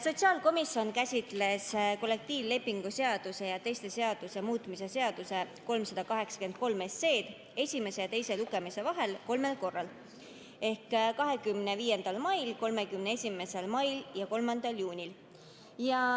Sotsiaalkomisjon käsitles kollektiivlepingu seaduse ja teiste seaduste muutmise seaduse eelnõu 383 esimese ja teise lugemise vahel kolmel korral: 25. mail, 31. mail ja 3. juunil.